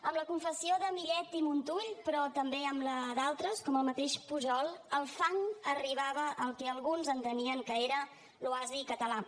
amb la confessió de millet i montull però també amb la d’altres com el mateix pujol el fang arribava al que alguns entenien que era l’oasi català